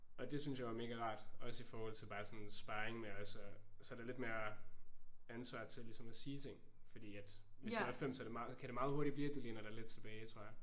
Og det synes jeg var mega rart. Også i forhold til bare sådan sparring med også og så er der lidt mere ansvar til ligesom at sige ting fordi at hvis du er 5 så er det meget kan det meget hurtigt blive at du læner dig lidt tilbage tror jeg